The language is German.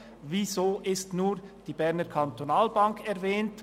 Weswegen wird nur die Berner Kantonalbank (BEKB) erwähnt?